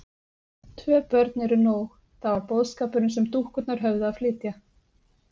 Tvö börn eru nóg: það var boðskapurinn sem dúkkurnar höfðu að flytja.